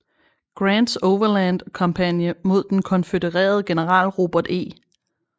Grants Overland kampagne mod den konfødererede general Robert E